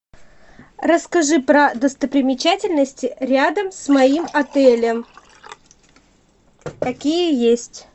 расскажи про достопримечательности рядом с моим отелем какие есть